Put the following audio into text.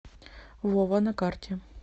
вова на карте